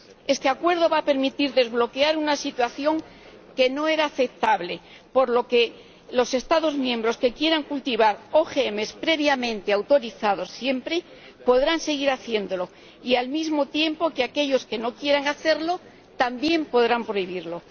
Este acuerdo va a permitir desbloquear una situación que no era aceptable, por lo que los Estados miembros que quieran cultivar OGM, previamente autorizados siempre, podrán seguir haciéndolo, al mismo tiempo que aquellos que no quieran hacerlo también puedan prohibirlo.